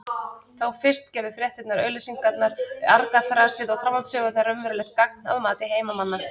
Þá fyrst gerðu fréttirnar, auglýsingarnar, argaþrasið og framhaldssögurnar raunverulegt gagn að mati heimamanna.